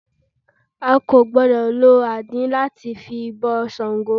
A kò gbọ́dọ̀ lo àdín lá ti bọ Sàngó